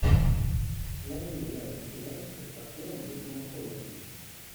найди варианты сериальчиков с актером мэттью макконахи